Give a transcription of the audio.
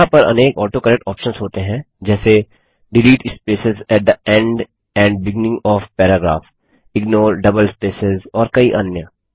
यहाँ पर अनेक ऑटोकरेक्ट ऑप्शन्स होते हैं जैसे delete spaces at the end and beginning of paragraph ignore double spaces और कई अन्य